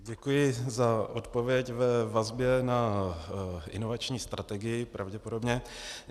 Děkuji za odpověď ve vazbě na inovační strategii pravděpodobně.